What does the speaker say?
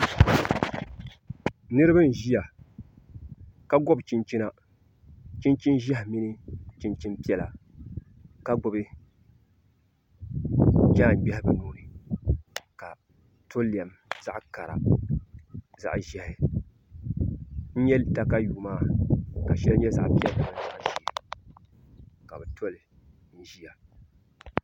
Niraba n ʒiya ka gobi chinchina chinchin ʒiɛhi mini chinchin piɛla ka gbubi jaan gbiɣu bi nuuni ka to lɛm zaɣ kara zaɣ ʒiɛhi n nyɛ katayuu maa ka shɛli nyɛ zaɣ piɛlli ka bi toli n ʒiya